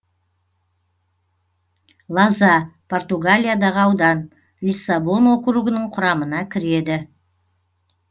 лоза португалиядағы аудан лиссабон округінің құрамына кіреді